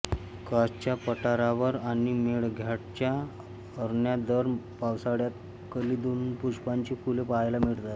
कासच्या पठारावर आणि मेळघाटच्या अरण्यात दर पावसाळ्यात कंदिलपुष्पाची फुले पहायला मिळतात